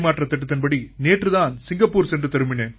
திட்டப்படி நேற்றுத் தான் சிங்கப்பூர் சென்று திரும்பினேன்